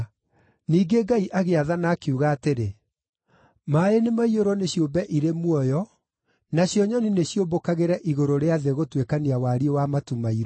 Ningĩ Ngai agĩathana, akiuga atĩrĩ: “Maaĩ nĩmaiyũrwo nĩ ciũmbe irĩ muoyo, nacio nyoni nĩciũmbũkagĩre igũrũ rĩa thĩ gũtuĩkania wariĩ wa matu mairũ.”